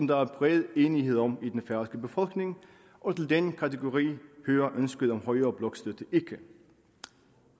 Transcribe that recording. der er bred enighed om i den færøske befolkning og til den kategori hører ønsket om højere blokstøtte ikke